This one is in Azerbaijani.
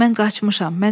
Mən qaçmışam.